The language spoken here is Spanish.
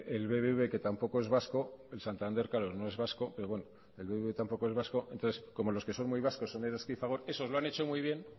el bbv que tampoco es vasco el santander no es vasco pero el bbv tampoco es vasco entonces como los que son muy vascos son eroski y fagor esos lo han hecho muy bien